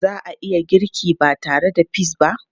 Za a iya girki ba tare da peas ba?